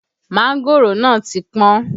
Mángòrò náà ti pọ́n